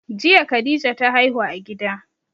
Jiya khadija ta haihu a gida